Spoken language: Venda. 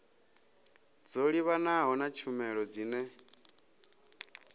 dzo livhanaho na tshumelo dzine